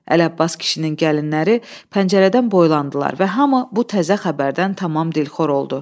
Ələbbas kişinin gəlinləri pəncərədən boylandılar və hamı bu təzə xəbərdən tamam dilxor oldu.